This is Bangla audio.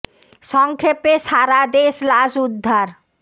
স ং ক্ষে পে সা রা দে শ লাশ উদ্ধার